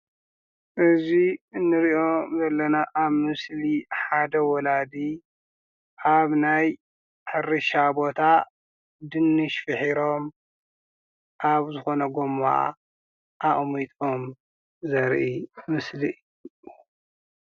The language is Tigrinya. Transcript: እዚ እንሪኦ ዘለና አብ ምስሊ ሓደ ወላዲ አብ ናይ ሕርሻ ቦታ ድንሽ ፊሒሮም አብ ዝኮነ ጎማ አቂሚጦም ዘርኢ ምስሊ፡፡